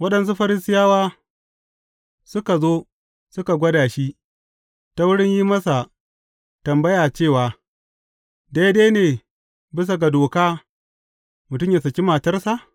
Waɗansu Farisiyawa suka zo suka gwada shi, ta wurin yin masa tambaya cewa, Daidai ne bisa ga doka, mutum yă saki matarsa?